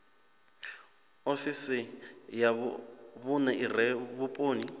ofisi ya vhune ire vhuponi